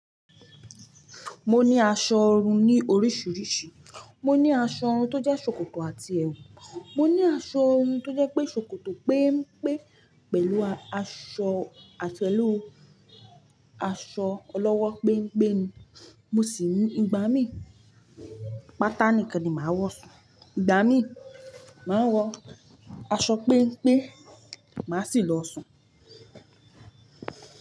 Mo ní aṣọ ọrùn ní oríṣiríṣi. Mo ní aṣọ ọrùn tó jẹ́ ṣòkòtò àti ẹwù. Mo ní aṣọ ọrùn tó jẹ́ pé ṣòkòtò péńpé pẹ̀lú aṣọ àti pẹ̀lú aṣọ ọlọ́wọ́ gbén gbén. Mo sì ní ìgbà mí, pátá nìkan ni màá wọ̀ sùn. Ìgbà mí, màá wọ aṣọ péńpé, màá sì lọ sùn.